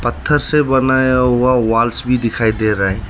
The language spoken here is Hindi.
पत्थर से बनाया हुआ वाल्स भी दिखाई दे रहा है।